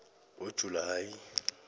ngojulayi